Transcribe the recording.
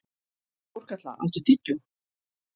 Þórkatla, áttu tyggjó?